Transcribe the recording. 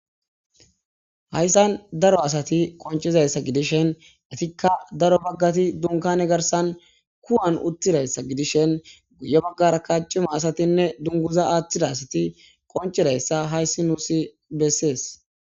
Haysan daro asati qonc'iza gidishin etika daro bagati dunkane garsan kuwan utidaysa gidishen yabagarakka c'ima asati dunguza atida asati qonc'idaysa haysi nusi beses.